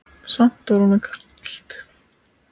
Samt var honum kalt.